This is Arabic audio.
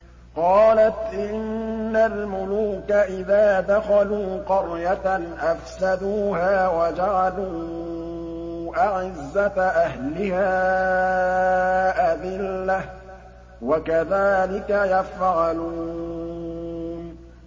قَالَتْ إِنَّ الْمُلُوكَ إِذَا دَخَلُوا قَرْيَةً أَفْسَدُوهَا وَجَعَلُوا أَعِزَّةَ أَهْلِهَا أَذِلَّةً ۖ وَكَذَٰلِكَ يَفْعَلُونَ